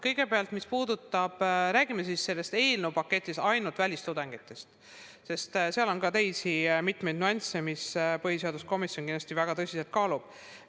Kõigepealt, räägime siis selle eelnõu puhul ainult välistudengitest – aga seal on ka mitmeid teisi nüansse, mida põhiseaduskomisjon kindlasti väga tõsiselt kaalub.